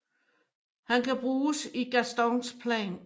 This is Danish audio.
Han kan bruges i Gastons plan